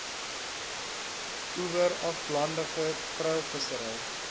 oewer aflandige treilvissery